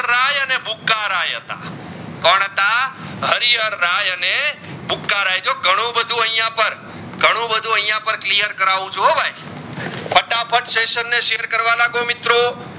આ હારીહાર ધાય અને પુકારે જો ઘણું બધુ આઇયાં પણ ઘણું બધુ આઇયાં clear કરાવ છું ભાઈ ફટાફટ સેસસીઓન ને share કરવા લાગો મિત્રો